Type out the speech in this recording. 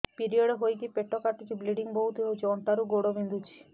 period ହୋଇକି ପେଟ କାଟୁଛି ବ୍ଲିଡ଼ିଙ୍ଗ ବହୁତ ହଉଚି ଅଣ୍ଟା ରୁ ଗୋଡ ବିନ୍ଧୁଛି